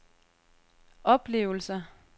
oplevelser